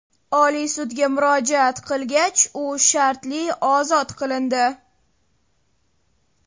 Oliy sudga murojaat qilgach, u shartli ozod qilindi.